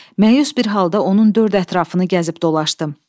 Məyus bir halda onun dörd ətrafını gəzib dolaşdım.